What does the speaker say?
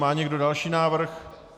Má někdo další návrh?